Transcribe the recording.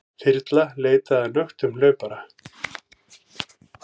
Þyrla leitaði að nöktum hlaupara